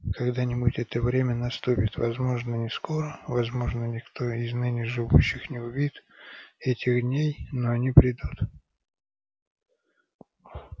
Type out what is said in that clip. когда-нибудь это время наступит возможно не скоро возможно никто из ныне живущих не увидит этих дней но они придут